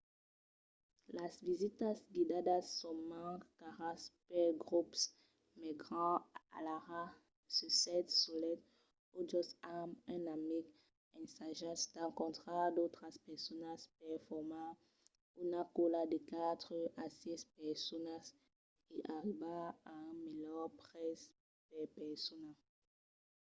las visitas guidadas son mens caras pels grops mai grands alara se sètz solet o just amb un amic ensajatz d’encontrar d’autras personas per formar una còla de quatre a sièis personas e arribar a un melhor prètz per persona